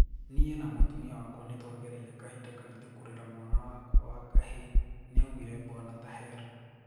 Nie na mũtũmia wakwa nitwagereire kahinda karitu kurera mwanawakwa wa kihii", niaugire bwana Taher.